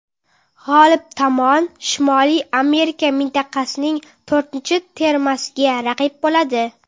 G‘olib tomon Shimoliy Amerika mintaqasining to‘rtinchi termasiga raqib bo‘ladi.